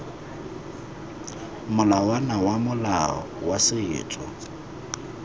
molawana wa molao wa setso